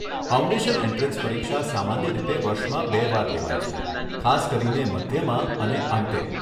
Foundation entrance પરીક્ષા સામાન્ય રીતે વર્ષમાં બે વાર લેવાય છે, ખાસ કરીને મધ્યમાં અને અંતે.